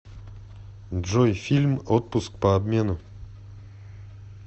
джой фильм отпуск по обмену